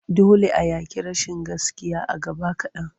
Dole a yaƙi rashin gaskiya a gaba kaɗan.